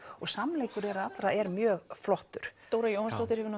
og samleikur þeirra allra er mjög flottur Dóra Jóhannsdóttir hefur